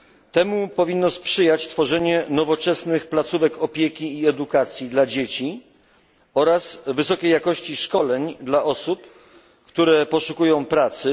Temu powinno sprzyjać tworzenie nowoczesnych placówek opieki i edukacji dla dzieci oraz wysoka jakość szkoleń dla osób, które poszukują pracy.